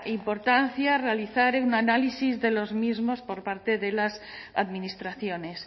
importancia realizar un análisis de los mismos por parte de las administraciones